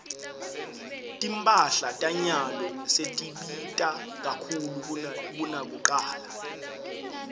timphahla tanyalo setibita kakhulu kunakucala